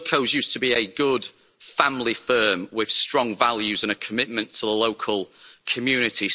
Wilko's used to be a good family firm with strong values and a commitment to the local community.